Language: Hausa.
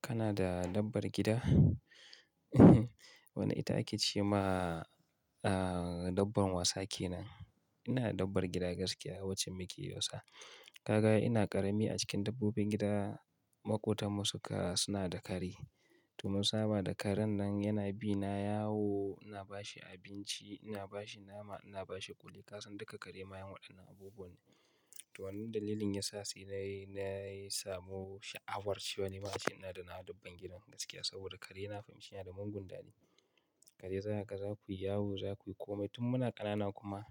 Kana da dabbar gida? Wani ita ake ce ma, ah, dabbar wasa kenan. Ina da dabbar gida gaskiya, wacce muke yi wasa. Kaga ina ƙarami a cikin dabbobin gida, maƙotan mu suka suna da kare. To mun saba da karen nan yana bi na yawo, ina ba shi abinci, ina ba shi nama, ina ba shi ƙuli. Ka san duka kare mayen waɗannan abubuwa ne. To wannan dalilin yasa sai na yi, na yi samu sha'awar cewa ni ma ina da na dabbar gidan gaskiya saboda kare na fahimci yana da mangun dari. Kare zakaga zakuyi yawo zakuyi kome tun muna ƙanana kuma